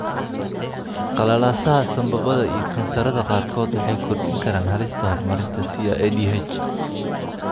Qalalaasaha sambabada iyo kansarrada qaarkood waxay kordhin karaan halista horumarinta SIADH.